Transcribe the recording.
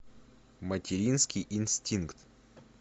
материнский инстинкт